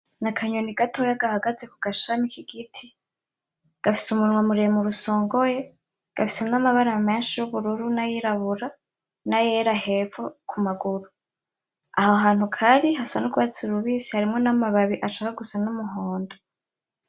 Ni akanyoni gatoya gahagaze kugashami k'igiti , gafise umunwa muremure usongoye, gafise n'amabara menshi y'ubururu nay'irabura n'ayera hepfo ku maguru, aho hantu kari hasa n'urwatsi rubisi harimwo n'amababi ashaka gusa n'umuhondo .